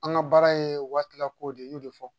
An ka baara ye waati lako de ye n y'o de fɔ